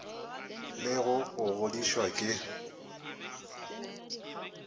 le go go godišwa ke